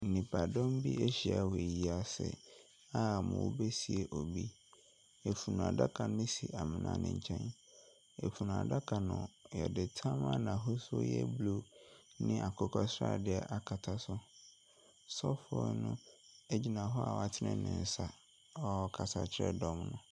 Nnipadɔm bi ahyiam ayie ase a wɔresie bronin. Afunu adaka no si amona ne nkyɛn. Afunu adaka no, yɛde tam a n’ahosuo yɛ blue ne akokɔsradeɛ akata so. Sɔfo no guina hɔ awatene ne nsa a ɔrekasa kyerɛ dɔm no.